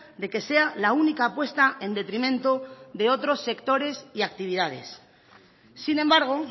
de que sea la única apuesta en detrimento de otros sectores y actividades sin embargo